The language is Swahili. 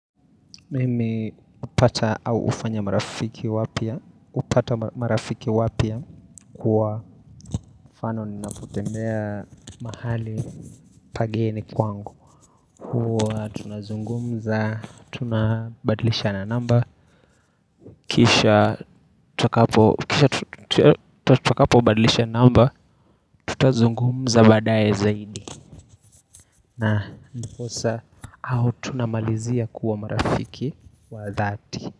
Mimi hupata au hufanya marafiki wapya hupata marafiki wapya kwa fano ninapotembea mahali pageni kwangu Hua tunazungumza, tunabadilishana namba Kisha tutakapo badlisha na namba tutazungumza badaye zaidi na ndiposa au tunamalizia kuwa marafiki wa dhati.